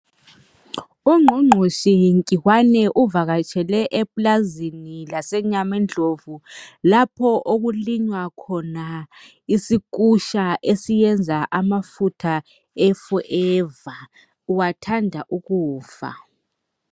Ungqungqushe Nkiwane, uvakatshele eplazini laseNyamendlovu. Lapho okulinywa khona isikusha , esiyenza amafutha e Forever. Uwathanda ukufa.